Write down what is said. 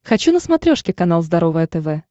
хочу на смотрешке канал здоровое тв